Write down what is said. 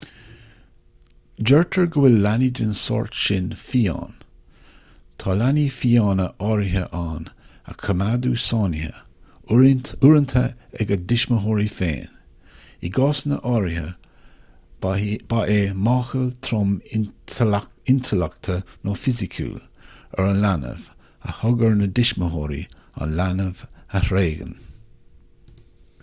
deirtear go bhfuil leanaí den sórt sin fiáin". tá leanaí fiáine áirithe ann a coimeádadh sáinnithe uaireanta ag a dtuismitheoirí féin; i gcásanna áirithe ba é máchail trom intleachta nó fisiciúil ar an leanbh a thug air na tuismitheoirí an leanbh a thréigean